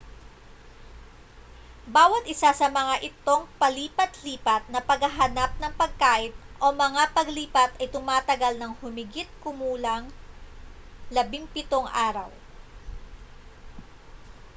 bawat isa sa mga itong palipat-lipat na paghahanap ng pagkain o mga paglipat ay tumatagal ng humigit-kumulang 17 araw